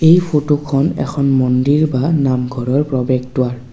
এই ফটোখন এখন মন্দিৰ বা নামঘৰৰ প্ৰৱেশ দুৱাৰ।